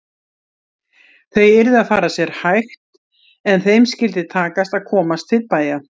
Þau yrðu að fara sér hægt en þeim skyldi takast að komast til bæja!